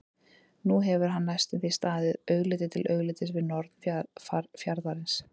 Nú hefur hann næstum því staðið augliti til auglitis við norn fjarðarins.